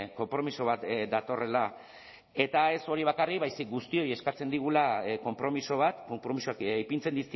konpromiso bat datorrela eta ez hori bakarrik baizik guztioi eskatzen digula konpromiso bat konpromisoak ipintzen